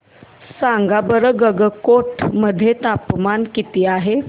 सांगा बरं गंगटोक मध्ये तापमान किती आहे